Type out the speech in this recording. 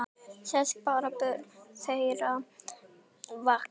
Þess bera börn þeirra vitni.